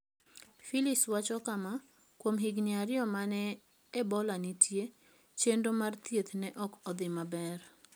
Philips wacho kama: "Kuom higini ariyo ma ne Ebola nitie, chenro mag thieth ne ok odhi maber.